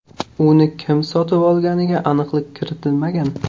Uni kim sotib olganiga aniqlik kiritilmagan.